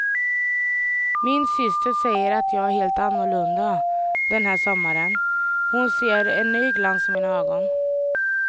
Min syster säger att jag är helt annorlunda den här sommaren, hon ser en ny glans i mina ögon.